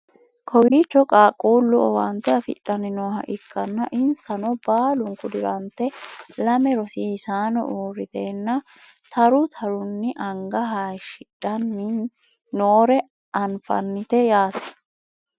kowiicho qaaqquullu owaante afidhanni nooha ikkanna insano baalunku dirante lame rosisaano uurriteenna taru tarunni anga hayeeshshidhanni noore anfannite yaate .